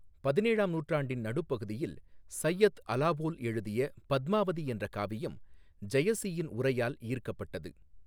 பதினேழாம் நூற்றாண்டின் நடுப்பகுதியில் சையத் அலாவோல் எழுதிய பத்மாவதி என்ற காவியம் ஜெயசியின் உரையால் ஈர்க்கப்பட்டது.